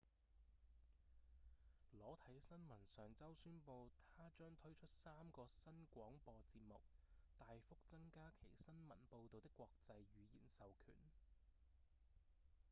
裸體新聞上週宣布它將推出三個新廣播節目大幅增加其新聞報導的國際語言授權